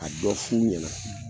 A dɔ f'u ɲɛna